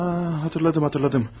Ha, xatırladım, xatırladım.